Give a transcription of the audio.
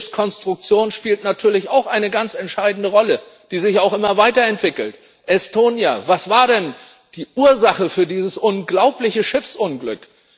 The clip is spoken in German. Die Schiffskonstruktion spielt natürlich auch eine ganz entscheidende Rolle, die sich auch immer weiterentwickelt. Estonia Was war denn die Ursache für dieses unglaubliche Schiffsunglück?